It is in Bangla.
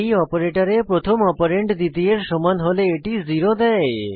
এই অপারেটরে প্রথম অপারেন্ড দ্বিতীয়ের সমান হলে এটি 0 দেয়